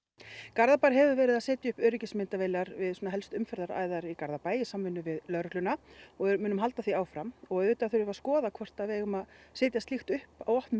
Garðabær hefur verið að setja upp öryggismyndavélar við helstu umferðaræðar í Garðabæ í samvinnu við lögregluna og við munum halda því áfram og auðvitað þurfum við að skoða hvort að við eigum að setja slíkt upp á opnum